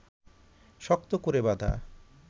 শক্ত করে বাঁধা